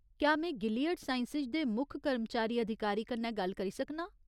क्या में Gilead Sciences दे मुक्ख कर्मचारी अधिकारी कन्नै गल्ल करी सकनां ?